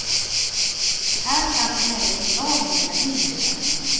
Här kan emellertid lagen lägga hinder i vägen.